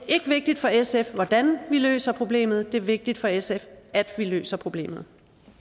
ikke vigtigt for sf hvordan vi løser problemet det er vigtigt for sf at vi løser problemet